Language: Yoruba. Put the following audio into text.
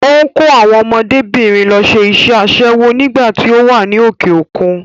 Ó ń kó àwọn ọmọdébìnrin lọ ṣe iṣẹ́ aṣẹ́wó nígbà tí ó wà ní òkè-òkun.